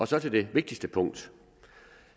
så til det vigtigste punkt